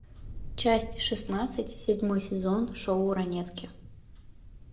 часть шестнадцать седьмой сезон шоу ранетки